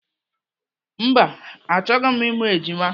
Mba, achọghị m ịmụ ejima.